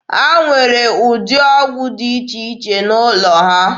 Ha nwere ụdị ọgwụ dị iche iche n'ụlọ ha.